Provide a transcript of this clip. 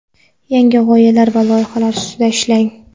yangi g‘oyalar va loyihalar ustida ishlang.